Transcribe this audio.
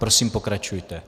Prosím pokračujte.